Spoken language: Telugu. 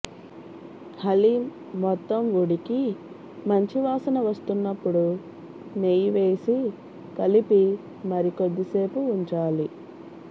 హలీమ్ మొత్తం ఉడికి మంచి వాసన వస్తున్నప్పుడు నెయ్యివేసి కలిపి మరి కొద్దిసేపు ఉంచాలి